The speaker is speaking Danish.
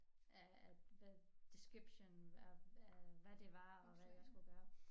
Af the description of hvad det var og hvad jeg skulle gøre